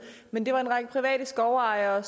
men det var en række private skovejere